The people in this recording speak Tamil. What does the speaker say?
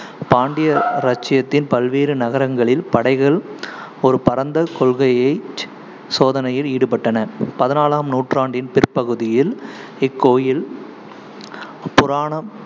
பாண்டிய இராச்சியத்தின் பல்வேறு நகரங்களில் படைகள் ஒரு பரந்த கொள்ளைகையை சோதனையில் ஈடுபட்டன பதினாலாம் நூற்றாண்டின் பிற்பகுதியில் இக்கோயில் புராண~